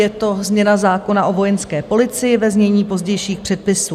Je to změna zákona o Vojenské policii, ve znění pozdějších předpisů.